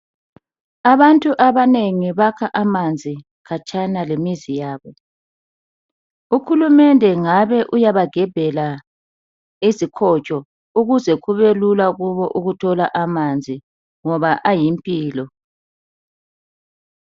Abantu abanengi bakha amanzi khatshana lemizi yabo. Uhulumende ngabe uyaba gebhela izikhotsho ukuze kube lula kubo ukuthola amanzi ngoba ayimpilo